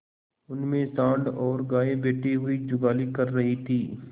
उनमें सॉँड़ और गायें बैठी हुई जुगाली कर रही थी